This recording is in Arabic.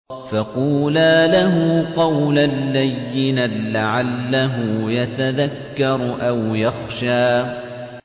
فَقُولَا لَهُ قَوْلًا لَّيِّنًا لَّعَلَّهُ يَتَذَكَّرُ أَوْ يَخْشَىٰ